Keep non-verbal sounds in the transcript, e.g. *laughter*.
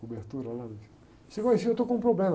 Cobertura lá, *unintelligible* eu estou com um problema.